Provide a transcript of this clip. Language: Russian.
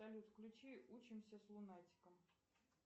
салют включи учимся с лунатиком